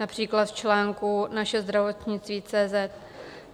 Například v článku Naše zdravotnictví.